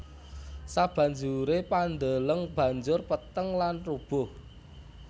Sabanjure pandeleng banjur peteng lan rubuh